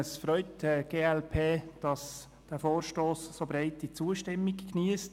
Es freut die glp, dass dieser Vorstoss so breite Zustimmung geniesst.